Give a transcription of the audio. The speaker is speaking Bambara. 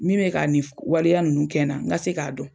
Min bɛ k'a nin f waleya ninnu kɛ na ŋa se k'a dɔn.